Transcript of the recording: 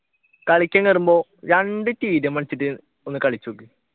കളിക്കാൻ കേറുമ്പോൾ രണ്ടു tdm കളിച്ചിട്ട് ഒന്ന് കളിച്ചുനോക്ക്